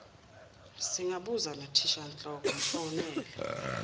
singabuza nothishanhloko mfonele